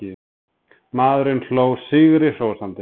Maðurinn hló sigri hrósandi.